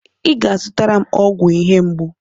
Ị ga-azụtara m ọgwụ ihe mgbu.